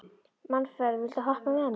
Manfreð, viltu hoppa með mér?